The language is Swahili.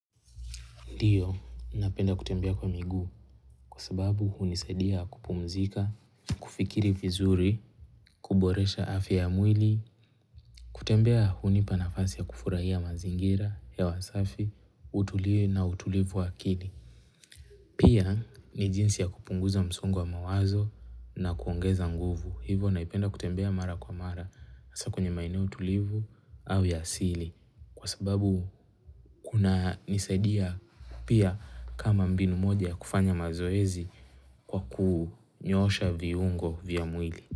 Ndiyo, napenda kutembea kwa miguu kwa sababu hunisadia kupumzika, kufikiri vizuri, kuboresha afya ya mwili, kutembea hunipa nafasi ya kufurahia mazingira, hewa safi, utulie na utulivu wa akili. Pia ni jinsi ya kupunguza msongo wa mawazo na kuongeza nguvu. Hivo naipenda kutembea mara kwa mara hasa kwenye maeneo tulivu au ya asili. Kwa sababu kunanisaidia pia kama mbinu moja ya kufanya mazoezi kwa kunyoosha viungo vya mwili.